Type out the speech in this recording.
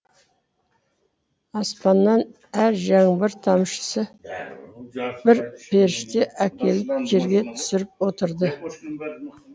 аспаннан әр жаңбыр тамшысы бір періште әкеліп жерге түсіріп отырды